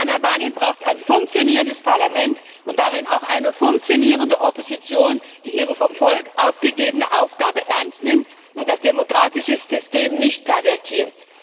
Albanien braucht ein funktionierendes Parlament und darin auch eine funktionierende Opposition, die ihre vom Volk aufgegebene Aufgabe ernst nimmt und das demokratische System nicht pervertiert.